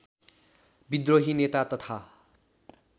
विद्रोही नेता तथा